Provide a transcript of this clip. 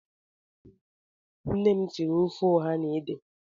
Oge gara aga, nnem siri ofe ọha na ede